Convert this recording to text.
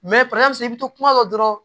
i bɛ to kuma dɔ la dɔrɔn